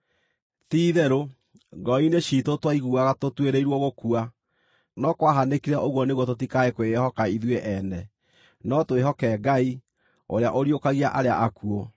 Ti-itherũ, ngoro-inĩ ciitũ twaiguaga tũtuĩrĩirwo gũkua. No kwahanĩkire ũguo nĩguo tũtikae kwĩĩhoka ithuĩ ene, no twĩhoke Ngai, ũrĩa ũriũkagia arĩa akuũ.